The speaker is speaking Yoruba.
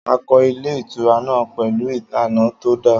Akọ ilé ìtura na pẹ̀lú ìlànà tó da